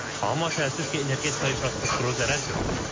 Amma təəssüf ki, energetika infrastrukturu zərər görüb.